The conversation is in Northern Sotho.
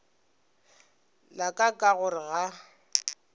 la ka ka gore ga